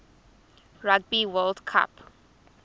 rugby world cup